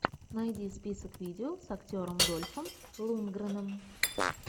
найди список видео с актером дольфом лундгреном